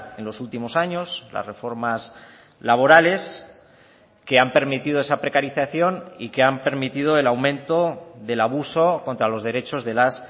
en los últimos años las reformas laborales que han permitido esa precarización y que han permitido el aumento del abuso contra los derechos de las